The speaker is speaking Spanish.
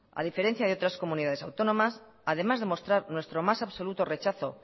a diferencia de otras comunidades autónomas además de mostrar nuestro más absoluto rechazo